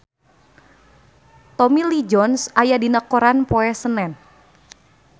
Tommy Lee Jones aya dina koran poe Senen